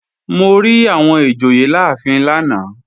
Mo rí àwọn ìjòyè láàfin lánàá